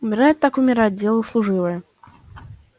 умирать так умирать дело служивое